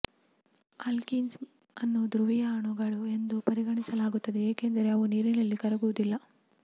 ಅಲ್ಕಿನ್ಸ್ ಅನ್ನು ಧ್ರುವೀಯ ಅಣುಗಳು ಎಂದು ಪರಿಗಣಿಸಲಾಗುತ್ತದೆ ಏಕೆಂದರೆ ಅವು ನೀರಿನಲ್ಲಿ ಕರಗುವುದಿಲ್ಲ